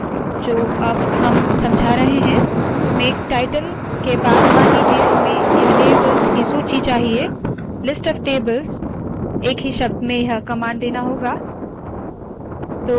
जो अब हम समझा रहे है मेक टायटल के बाद मान लीजिए हमें यह टेबल्स की सूची चाहिए – listoftables एक ही शब्द में यह कमांड देना होगा